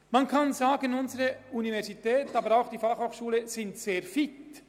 Man kann nun sagen, die Universität und die BFH seien sehr fit.